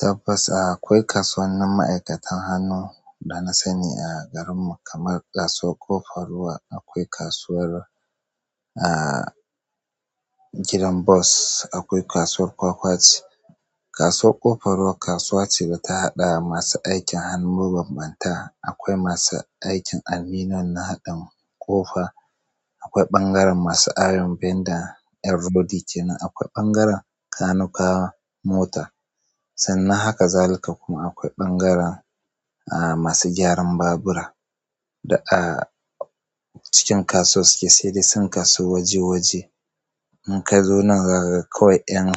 Tabbas a, akwai kasuwannin ma'aikatan hannu da na sani a garinmu kamar Kasuwar Ƙofar Ruwa, akwai kasuwar, ah, gidan bos, akwai Kasuwar Kwakwaci. Kasuwar Ƙofar Ruwa kasuwa ce da ta haɗa masu aikin hannu mabanbanta. Akwai masu aikin aluminum na haɗin ƙofa, akwai ɓangaren masu iron bender, ƴan rodi kenan, akwai ɓangaren kanukawa mota sannan haka zalika. Kuma akwai ɓangaren, ah, masu gyaran babura. Da a cikin kasuwar suke, sai dai sun kasu waje waje. In ka zo nan za ka ga kawai ƴan